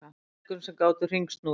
Skriðdrekum sem gátu hringsnúist.